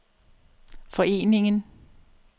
foreningen